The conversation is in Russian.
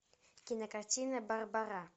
кинокартина барбара